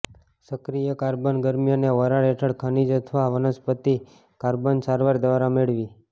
સક્રિય કાર્બન ગરમી અને વરાળ હેઠળ ખનિજ અથવા વનસ્પતિ કાર્બન સારવાર દ્વારા મેળવી